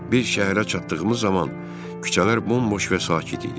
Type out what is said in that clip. Biz şəhərə çatdığımız zaman küçələr bomboş və sakit idi.